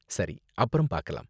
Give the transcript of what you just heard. சரி, அப்பறம் பாக்கலாம்